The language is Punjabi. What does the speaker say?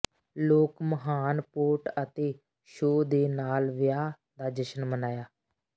ਲੋਕ ਮਹਾਨ ਪੋਟ ਅਤੇ ਸ਼ੋਅ ਦੇ ਨਾਲ ਵਿਆਹ ਦਾ ਜਸ਼ਨ ਮਨਾਇਆ